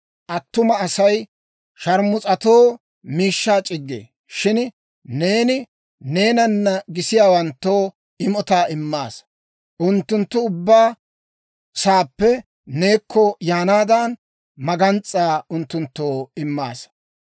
Attuma Asay sharmus'atoo miishshaa c'iggee; shin neeni neenana gisiyaawanttoo imotaa immaasaa; unttunttu ubbaa saappe neekko yaanaadan, magans's'aa unttunttoo immaasa.